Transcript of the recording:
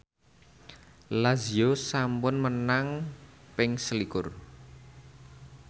Lazio sampun menang ping selikur